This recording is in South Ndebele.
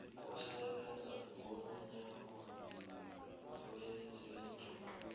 yokusebenza komnyango wezezindlu